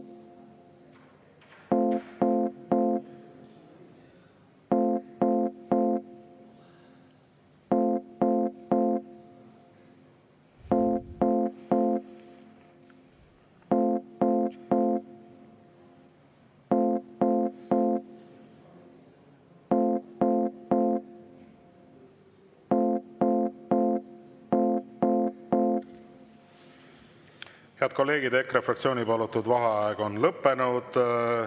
Head kolleegid, EKRE fraktsiooni palutud vaheaeg on lõppenud.